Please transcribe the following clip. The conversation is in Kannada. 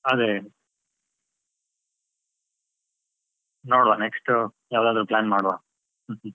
ಅದೇ, ನೋಡುವ next ಯಾವದಾದ್ರು plan ಮಾಡುವ .